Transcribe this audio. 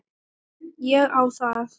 Ég á það.